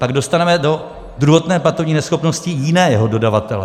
Tak dostaneme do druhotné platební neschopnosti jiného dodavatele.